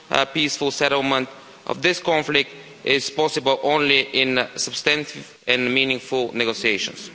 peaceful settlement of this conflict is possible only in substantive and meaningful negotiations.